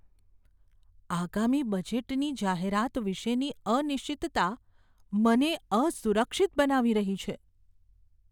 આગામી બજેટની જાહેરાત વિષેની અનિશ્ચિતતા મને અસુરક્ષિત બનાવી રહી છે.